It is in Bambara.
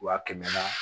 Wa kɛmɛ na